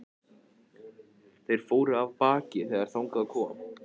Þeir fóru af baki þegar þangað kom.